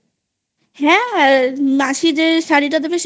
হ্যাঁ মাসি যে শাড়ি টা দেবে